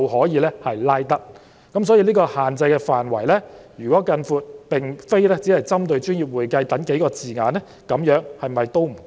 因此，如果將限制範圍擴大至並非只針對"專業會計"等數個字眼，是否仍不足夠？